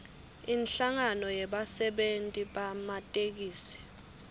inhlangano yebasebenti bematekisi